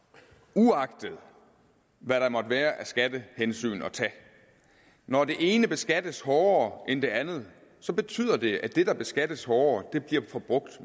uagtet hvad der måtte være at tage af skattehensyn når det ene beskattes hårdere end det andet betyder det at det der beskattes hårdere bliver forbrugt